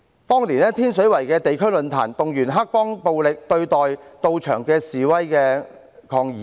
當年，在天水圍的地區論壇，也動員了黑幫來暴力對待到場的示威抗議者。